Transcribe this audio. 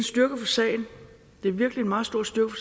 styrke for sagen det er virkelig en meget stor styrke